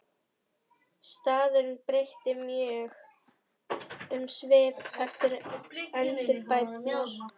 Staðurinn breytti mjög um svip eftir endurbæturnar.